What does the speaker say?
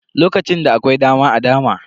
Lokacin da akwai dama a dama.